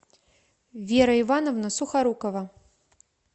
вера ивановна сухорукова